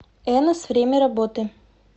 энос время работы